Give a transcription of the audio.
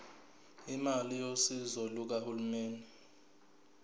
imali yosizo lukahulumeni